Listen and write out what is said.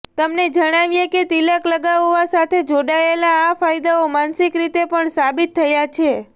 તમને જણાવીએ કે તિલક લગાવવા સાથે જોડાયેલા આ ફાયદાઓ માનસિક રીતે પણ સાબિત થયા છે